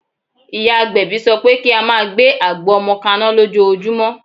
Ìyá agbẹ̀bí sọ pé kí á máa gbé àgbo ọmọ kaná lójoojúmọ́.